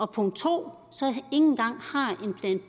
punkt to